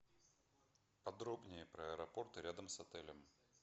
подробнее про аэропорты рядом с отелем